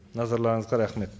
назарларыңызға рахмет